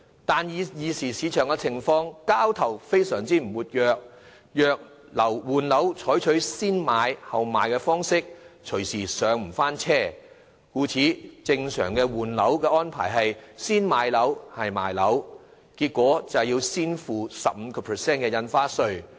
但是，現時市場交投並不活躍，如果在換樓時採取先賣後買的方式，隨時不能再"上車"，故此正常的換樓安排是先買樓，後賣樓，結果便要先付 15% 印花稅。